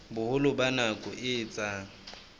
boholo ba nako e etsang